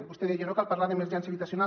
vostè deia no cal parlar d’emergència habitacional